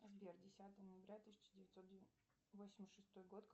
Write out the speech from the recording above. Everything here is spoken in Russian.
сбер десятое ноября тысяча девятьсот восемьдесят шестой год